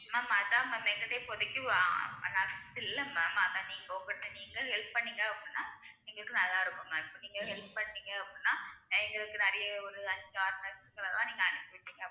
ma'am அதான் ma'am எங்ககிட்ட இப்போதைக்கு nurse இல்ல ma'am அதான் நீங்க உங்கட்ட நீங்களே help பண்ணீங்க அப்படின்னா எங்களுக்கு நல்லாருக்கும் ma'am நீங்க help பண்ணீங்க அப்படின்னா எங்களுக்கு நிறையா ஒரு அஞ்சு ஆறு nurse கிட்ட நீங்க அனுப்பி விட்டீங்க அப்படின்~